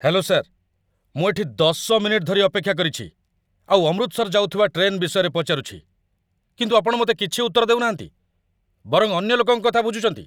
Hello sir! ମୁଁ ଏଠି ୧୦ minute ଧରି ଅପେକ୍ଷା କରିଛି, ଆଉ ଅମୃତସର ଯାଉଥିବା ଟ୍ରେନ୍ ବିଷୟରେ ପଚାରୁଛି, କିନ୍ତୁ ଆପଣ ମୋତେ କିଛି ଉତ୍ତର ଦେଉନାହାନ୍ତି, ବରଂ ଅନ୍ୟଲୋକଙ୍କ କଥା ବୁଝୁଛନ୍ତି!